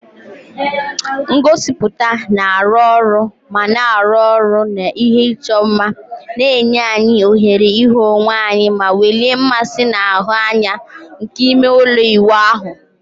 Ngosipụta na-arụ ọrụ ma na-arụ ọrụ na ihe ịchọ mma, na-enye anyị ohere ịhụ onwe anyị ma welie mmasị na-ahụ anya nke ime ụlọ ịwụ ahụ.